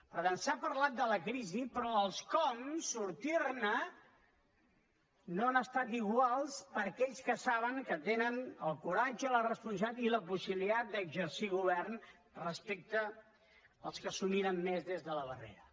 per tant s’ha parlat de la crisi però els com sortir ne no han estat iguals per aquells que saben que tenen el coratge la responsabilitat i la possibilitat d’exercir govern respecte als que s’ho miren més des de la barrera